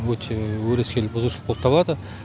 өте өрескел бұзушылық болып табылады